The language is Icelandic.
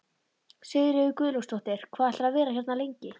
Sigríður Guðlaugsdóttir: Hvað ætlarðu að vera hérna lengi?